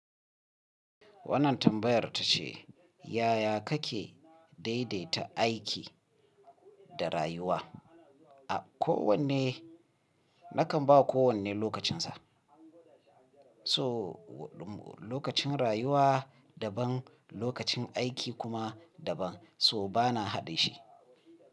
Wannan tambayar ta ce, yaya kake daidaita aiki da rayuwa? A kowanne, nakan ba kowanne lokacinsa. So lokacin rayuwa daban, lokacin aiki kuma daban. So bana haɗe shi.